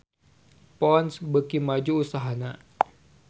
Ponds beuki maju usahana